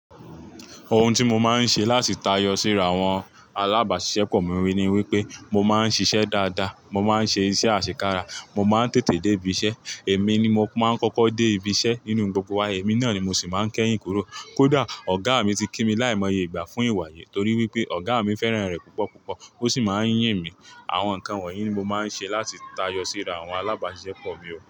Ohun tí mo máa ń ṣe láti tayọ síra àwọn alábàáṣisepọ̀ mi ni wípé mo máa ń ṣiṣẹ́ dáadáa, mo máa ń ṣe iṣẹ́ àṣekára, mo máa ń tètè dé ibi iṣẹ́, èmi ni mo máa ń kọ́kọ́ dé ibi iṣẹ́ nínú gbogbo wa, èmi náà ni mo sì máa ń kẹ́yìn kúrò. Kódà ọ̀gá mi ti kí mi láìmọye ìgbà fún ìwà yìí torí wípé ọ̀gá mi fẹ́ràn rẹ̀ púpọ̀ púpọ̀. Ó sì máa ń yìn mí. Àwọn nǹkan wọ̀nyí ni mo máa ń ṣe láti tayọ síra àwọn alábàáṣepọ̀ mi o.